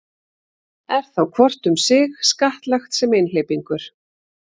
Er þá hvort um sig skattlagt sem einhleypingur.